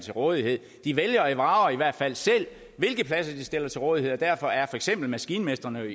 til rådighed de vælger og vrager i hvert fald selv hvilke pladser de stiller til rådighed og derfor er for eksempel maskinmestrene